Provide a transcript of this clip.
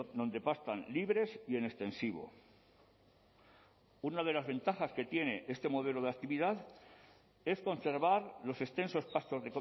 donde pastan libres y en extensivo una de las ventajas que tiene este modelo de actividad es conservar los extensos pastos